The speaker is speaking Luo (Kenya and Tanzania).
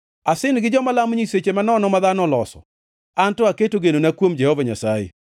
Asin gi joma lamo nyiseche manono ma dhano oloso; an to aketo genona kuom Jehova Nyasaye.